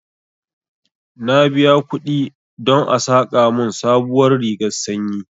Na biya kuɗi don a saƙa mun sabuwar rigar sanyi